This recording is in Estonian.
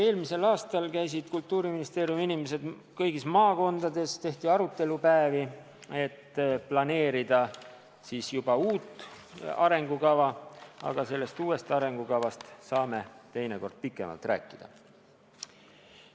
Eelmisel aastal käisid Kultuuriministeeriumi inimesed kõigis maakondades, tehti arutelupäevi, et planeerida juba uut arengukava, aga sellest uuest arengukavast saame teinekord pikemalt rääkida.